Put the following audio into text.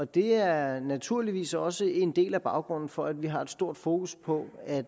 det er naturligvis også en del af baggrunden for at vi har stort fokus på at